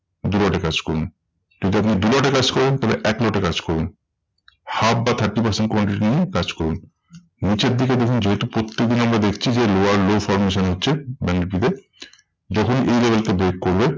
দু lot এ কাজ করুন। কিন্তু আপনি দু lot এ কাজ করেন তাহলে এক lot এ কাজ করুন। half বা thirty percent quantity নিয়ে কাজ করুন। নিচের দিকে দেখবেন যেহেতু প্রত্যেক দিন আমরা দেখছি যে, lower low formation হচ্ছে ব্যাঙ্ক নিফটি তে, দেখুন এই level কে break করবে।